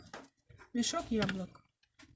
мешок яблок